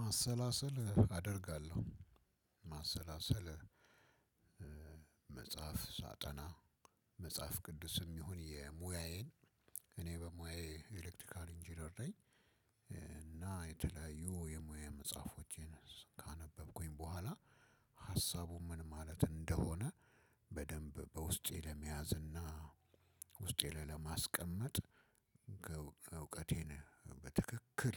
ማሰላሰል አደርጋለሁ። ማሰላሰል መጽሐፍ ሳጠና መጽሐፍ ቅዱስም ይሁን የሙያዬን እኔ በሙያዬ ኤሌክትካል ኢንጂነር ነኝ። እና የተለያዩ የሙያ መጽሐፎቼን ካነበብኩኝ በኋላ ሀሳቡ ምን ማለት እንደሆነ በደንብ በውስጤ ለመያዝ እና ውስጤ ላይ ለማስቀመጥ እውቀቴን በትክክል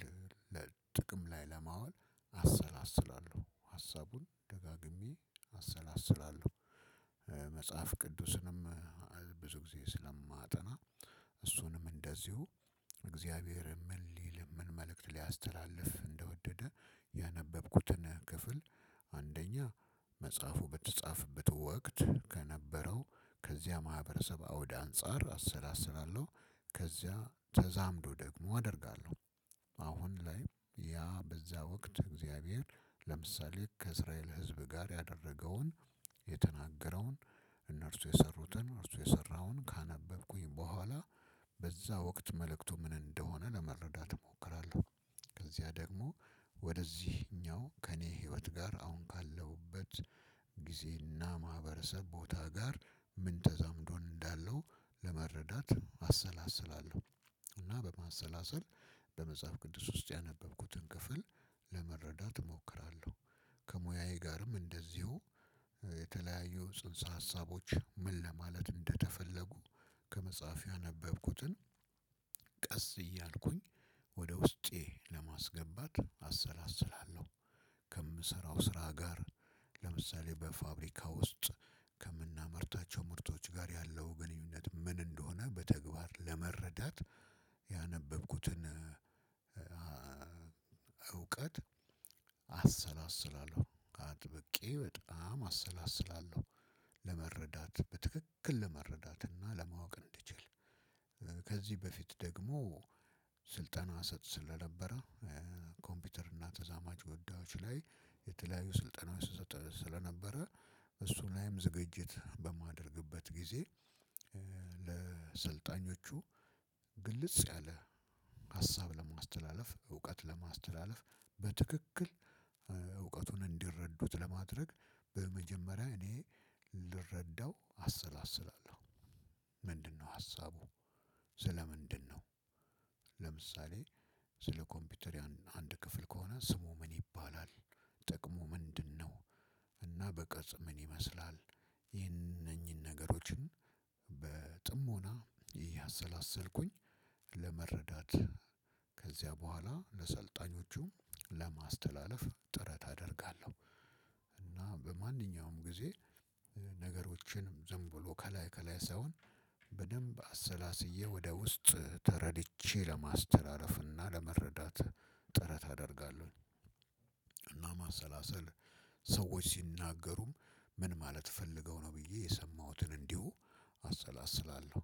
ለጥቅም ላይ ለማዋል አሰላስላለሁ። ሀሳቡን ደጋግሜ አሰላስላለሁ። መጽሐፍ ቅዱስንም ብዙ ጊዜ ስለማጠና እሱንም እንደዚሁ እግዚአብሔር ምን ሊል፤ ምን መልእክት ሊያስተላልፍ እንደወደደ ያነበብኩትን ክፍል አንደኛ መጽሐፉ በተጻፈበት ወቅት ከነበረው ከዚያ ማህበረሰብ አውድ አንፃር አሰላስላለሁ። ከዚያ ተዛምዶ ደግሞ አደርጋለሁ። አሁን ላይ ያ በዛ ወቅት እግዚአብሔር ለምሳሌ ከእስራኤል ህዝብ ጋር ያደረገውን የተናገረውን እነርሱ የሰሩትን፤ እርሱ የሰራውን ካነበብኩኝ በኋላ በዛ ወቅት መልእክቱ ምን እንደሆነ ለመረዳት እሞክራለሁ። ከዚያ ደግሞ ወደዚህኛው ከእኔ ህይወት ጋር አሁን ካለሁበት ጊዜና ማህበረሰብ ቦታ ጋር ምን ተዛምዶ እንዳለው ለመረዳት አሰላስላለሁ። እና በማሰላሰል በመጽሐፍ ቅዱስ ውስጥ ያነበብኩትን ክፍል ለመረዳት እሞክራለሁ። ከሙያያ ጋርም እንደዚሁ የተለያዩ ፅንስ ሀሳቦችን ምን ለማለት እንደተፈለጉ ከመፅሐፍ ያነበብኩትን ቀስ እያልኩኝ ወደ ውስጤ ለማስገባት አሰላስላለሁ። ከምሰራው ስራ ጋር ለምሳሌ በፋብሪካ ውስጥ ከምናመርታቸው ምርቶች ጋር ያለው ግንኙነት ምን እንደሆነ በተግባር ለመረዳት ያነበብኩትን እውቀት አሰላስላለሁ። አጥብቄ በጣም አሰላስላለሁ። ለመረዳት በትክክል ለመረዳት እና ለማወቅ እንድችል ከዚህ በፊት ደግሞ ስልጠና እሰጥ ስለነበረ ኮምፒውተር እና ተዛማጅ ጎዳዎች ላይ የተለያዩ ስልጠናዎች እሰጥ ስለነበረ እሱ ላይም ዝግጅት በማደርግበት ጊዜ ለሰልጣኞቹ ግልጽ ያለ ሀሳብ ለማስተላለፍ፤ እውቀት ለማስተላለፍ፤ በትክክል እውቀቱን እንዲረዱት ለማድረግ፤ በመጀመሪያ እኔ ልረዳው አሰላስላለሁ። ምንድነው ሀሳቡ? ስለ ምንድን ነው? ለምሳሌ ስለ ኮምፒውተር ያን አንድ ክፍል ከሆነ ስሙ ምን ይባላል? ጥቅሙ ምንድን ነው? እና በቅርፅ ምን ይመስላል? እነኚህን ነገሮችን በጥሞና እያሰላሰልኩኝ ለመረዳት ከዚያ በኋላ ለሰልጣኞቹም ለማስተላለፍ ጥረት አደርጋለሁ። እና በማንኛውም ጊዜ ነገሮችን ዝም ብሎ ከላይ ከላይ ሳይሆን በደንብ አሰላስዬ፤ ወደ ውስጥ ተረድቼ ለማስተላለፍ እና ለመረዳት ጥረት አደርጋለሁ። እና ማሰላሰል ሰዎች ሲናገሩም ምን ማለት ፈልገው ነው ብዬ የሰማሁትን እንዲሁ አሰላስላለሁ።